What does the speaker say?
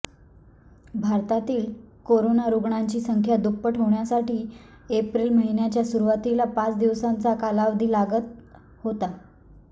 भारतातील कोरोना रुग्णांची संख्या दुप्पट होण्यासाठी एप्रिल महिन्याच्या सुरूवातीला पाच दिवसांचा कालावधी लागत होता